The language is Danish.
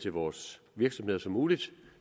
vores virksomheder som muligt